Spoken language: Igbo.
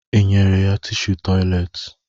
Ị nyere ya tishu tọyịleetị?